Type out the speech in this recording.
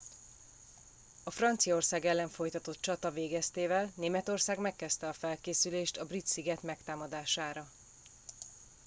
a franciaország ellen folytatott csata végeztével németország megkezdte a felkészülést a brit sziget megtámadására